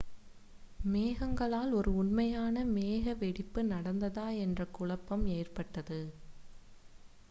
மேகங்களால் ஒரு உண்மையான மேக வெடிப்பு நடந்ததா என்ற குழப்பம் ஏற்பட்டது